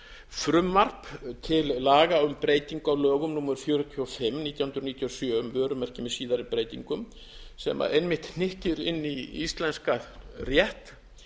frumvarp til laga um breytingu á lögum númer fjörutíu og fimm nítján hundruð níutíu og sjö um vörumerki með síðari breytingum sem einmitt hnykkir inn í íslenskan rétt